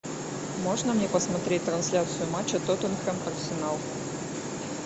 можно мне посмотреть трансляцию матча тоттенхэм арсенал